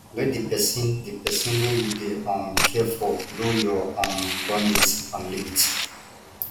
let di person di person wey you dey um care for know your um boundries and limit